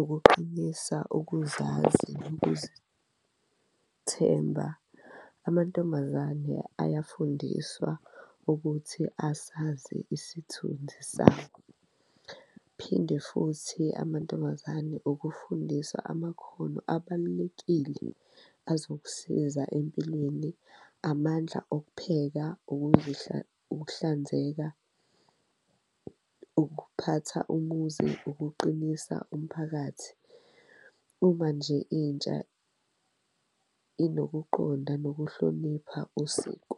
ukuqinisa ukuzazi, nokuzithemba amantombazane ayafundiswa ukuthi asazi isithunzi sawo, phinde futhi amantombazane ukufundisa amakhono abalulekile azokusiza empilweni, amandla okupheka, ukuhlanzeka, ukuphatha umuzi, ukuqinisa umphakathi uma nje intsha inokuqonda nokuhlonipha usiko.